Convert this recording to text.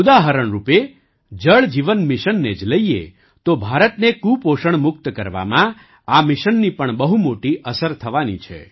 ઉદાહરણ રૂપે જળ જીવન મિશનને જ લઈએ તો ભારતને કુપોષણમુક્ત કરવામાં આ મિશનની પણ બહુ મોટી અસર થવાની છે